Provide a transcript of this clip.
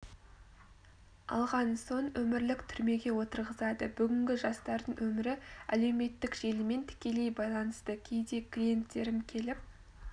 алған соң өмірлік түрмеге отырғызады бүгінгі жастардың өмірі әлеуметтік желімен тікелей байланысты кейде клиенттерім келіп